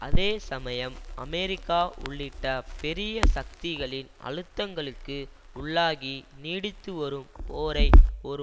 அதே சமயம் அமெரிக்கா உள்ளிட்ட பெரிய சக்திகளின் அழுத்தங்களுக்கு உள்ளாகி நீடித்துவரும் போரை ஒரு